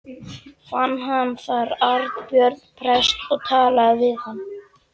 Fann hann þar Arnbjörn prest og talaði við hann.